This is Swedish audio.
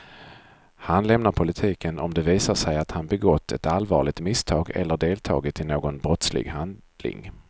Han lämnar politiken om det visar sig att han begått ett allvarligt misstag eller deltagit i någon brottslig handling.